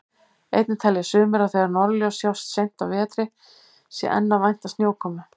Einnig telja sumir að þegar norðurljós sjáist seint á vetri sé enn að vænta snjókomu.